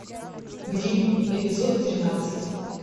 гримм эпизод тринадцать